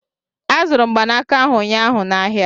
Azụrụ m mgbanaka ahụ ụnyaahụ n'ahịa